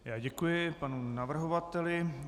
Já děkuji panu navrhovateli.